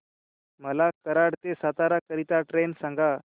मला कराड ते सातारा करीता ट्रेन सांगा